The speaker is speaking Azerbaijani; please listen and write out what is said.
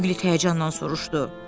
Piqlet həyəcanla soruşdu.